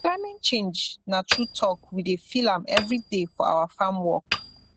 climate change na true talk we dey feel am every day for our farm work